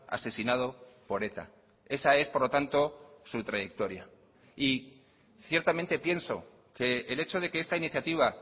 asesinado por eta esa es por lo tanto su trayectoria y ciertamente pienso que el hecho de que esta iniciativa